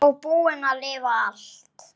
Og búin að lifa allt.